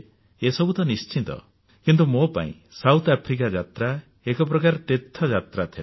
ଏସବୁ ତ ନିଶ୍ଚିତ କିନ୍ତୁ ମୋ ପାଇଁ ଦକ୍ଷିଣ ଆଫ୍ରିକା ଯାତ୍ରା ଏକ ପ୍ରକାର ତୀର୍ଥଯାତ୍ରା ଥିଲା